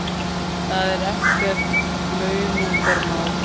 Það er ekkert launungarmál.